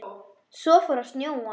Svo fór að snjóa.